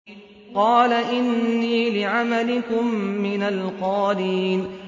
قَالَ إِنِّي لِعَمَلِكُم مِّنَ الْقَالِينَ